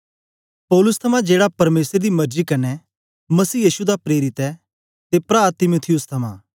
पौलुस थमां जेड़ा परमेसर दी मरजी कन्ने मसीह यीशु दा प्रेरित ऐ ते प्रा तीमुथियुस थमां